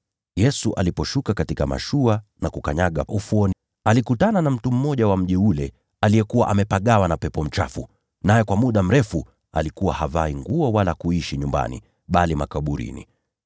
Yesu aliposhuka kutoka mashua na kukanyaga ufuoni, alikutana na mtu mmoja wa mji ule aliyekuwa amepagawa na pepo mchafu, naye kwa muda mrefu alikuwa havai nguo wala kuishi nyumbani, bali aliishi makaburini.